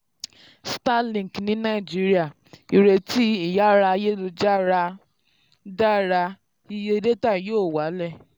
starlink ní nàìjíríà: ìrètí ìyára ayélujára dára iye ayélujára dára iye dátà yóò wálẹ̀.